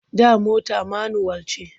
Da mota manuwal ce.